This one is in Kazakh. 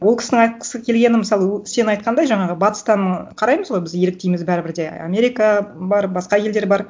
ол кісінің айтқысы келгені мысалы сен айтқандай жаңағы батыстан қараймыз ғой біз еліктейміз бәрібір де америка бар басқа елдер бар